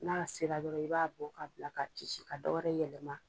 N'a sera dɔrɔn i b'a bɔ ka bila ka ci ci ka dɔ wɛrɛ yɛlɛma.